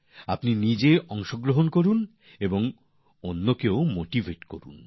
আপনি নিজেও অংশগ্রহন করুন আর অন্যদেরকেও উৎসাহিত করুন